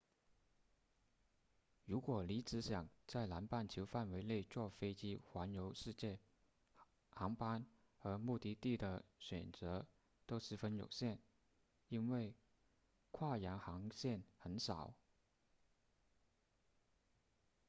如果你只想在南半球范围内坐飞机环游世界航班和目的地的选择都十分有限因为跨洋航线很少